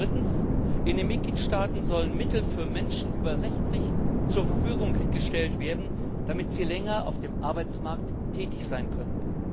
Drittens In den Mitgliedstaaten sollen Mittel für Menschen über 60 zur Verfügung gestellt werden, damit sie länger auf dem Arbeitsmarkt verbleiben können.